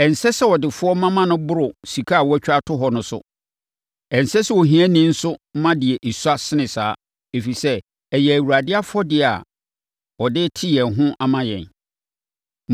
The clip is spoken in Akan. Ɛnsɛ sɛ adefoɔ ma ma ɛboro sika a wɔatwa ato hɔ no so. Ɛnsɛ sɛ ahiafoɔ nso ma deɛ ɛsua sene saa, ɛfiri sɛ, ɛyɛ Awurade afɔdeɛ a ɔde rete yɛn ho ama yɛn.